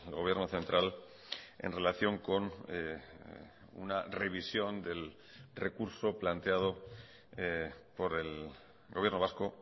gobierno central en relación con una revisión del recurso planteado por el gobierno vasco